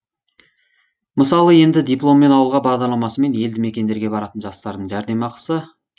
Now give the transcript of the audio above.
мысалы енді дипломмен ауылға бағдарламасымен елді мекендерге баратын жастардың жәрдемақысы